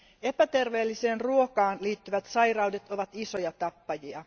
Epäterveelliseen ruokaan liittyvät sairaudet ovat isoja tappajia.